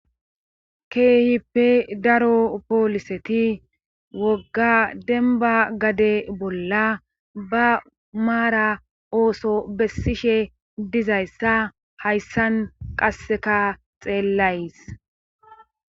Keehippe daro pooliseti wogga denba gade bolla ba maara ooso bessishe dizayssa hayssan qasseka xeellays.